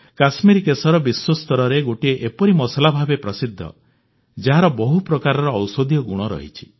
କଶ୍ମୀରି କେଶର ବିଶ୍ୱସ୍ତରରେ ଗୋଟିଏ ଏପରି ମସଲା ଭାବେ ପ୍ରସିଦ୍ଧ ଯାହାର ବହୁ ପ୍ରକାରର ଔଷଧୀୟ ଗୁଣ ରହିଛି